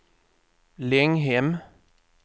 Länghem